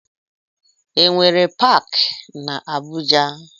E nwere paaki na Abuja?